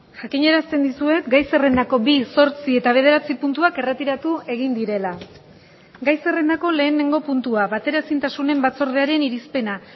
jakinarazten dizuet gai zerrendako bi zortzi eta bederatzi puntuak erretiratu egin direla gai zerrendako lehenengo puntua bateraezintasunen batzordearen irizpena